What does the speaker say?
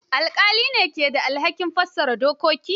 Alƙalai ne ke da alhakin fassara dokoki.